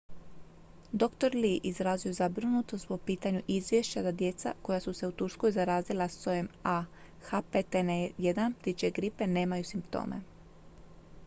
dr. lee izrazio je zabrinutost po pitanju izvješća da djeca koja su se u turskoj zarazila sojem ah5n1 ptičje gripe nemaju simptome